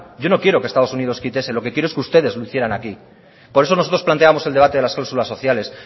yo no quiero que estados unidos quite eso lo que quiero es que ustedes lo hicieran aquí por eso nosotros planteamos el debate de las clausulas sociales